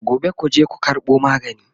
Gobe kuje ku karɓo magani!